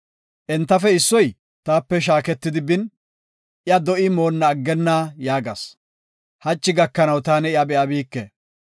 Entafe issoy taape shaaketidi bin, iya do7i moonna aggenna yaagas. Hachi gakanaw taani iya be7abike.